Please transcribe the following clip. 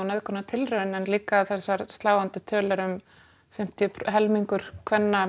nauðgun og nauðgunartilraun en líka þessar sláandi tölur að helmingur kvenna